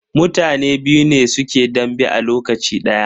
Mutane biyu ne suke dambe a lokaci daya.